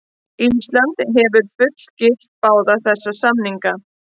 Ísland hefur fullgilt báða þessa samninga.